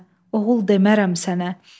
Oğul demərəm sənə.